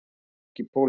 Þetta er ekki pólitík.